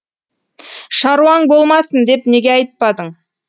шаруаң болмасын деп неге айтпадың